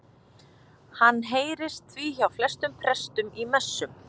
Hann heyrist því hjá flestum prestum í messum.